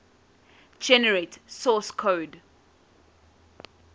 generate source code